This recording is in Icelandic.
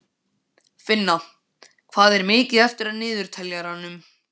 Finna, hvað er mikið eftir af niðurteljaranum?